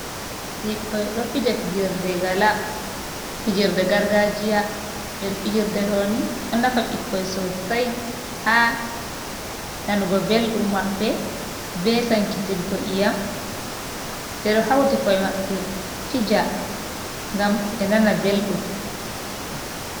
Ɓikkon ɗo fija fijirde gargajiya ɓeɗo fijirde ɗo ni ɗo nafa bikkoi sosai ha nanugo beldum maɓɓe, ɓe sankitiggo iyam ɓeɗo hauti koe maɓɓe fija ngam be nana beldum.